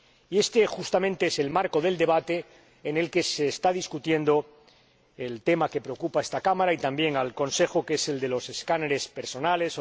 Y este, justamente, es el marco del debate en el que se inscribe el tema que preocupa a esta Cámara y también al Consejo, que es el de los escáneres corporales.